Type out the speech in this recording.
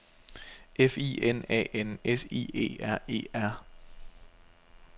F I N A N S I E R E R